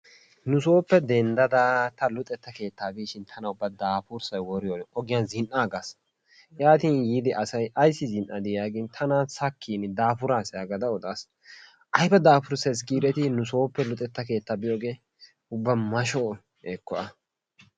Nusooppe denddada ta luxxetta keettaa biishin tana ubba daafurssay woriyorin ogiyan zin'aagas, yaati yiidi asay ayssi zi'adii yaagin tana sakiin daafuraasi yagada odaas. Ayba dafurssee giiidetti nusooppe luxetta keettaa biyoogee ubba masho ekko a.